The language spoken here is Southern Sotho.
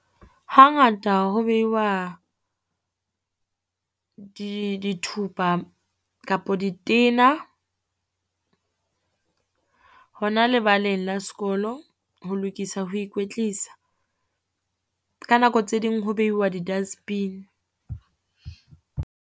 Hangata ho beiwa di dithupa kapo ditena, hona lebaleng la sekolo ho lokisa ho ikwetlisa. Ka nako tse ding ho beiwa di-dustbin.